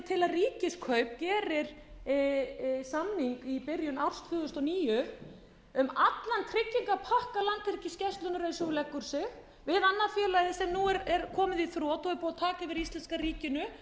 ríkiskaup gerir samning í byrjun árs tvö þúsund og níu um allan tryggingapakka landhelgisgæslunnar eins og hún leggur sig við annað félagið sem nú er komið í þrot og er búið að taka yfir af íslenska ríkinu